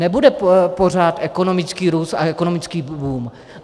Nebude pořád ekonomický růst a ekonomický boom.